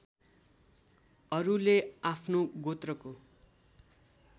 अरूले आफ्नो गोत्रको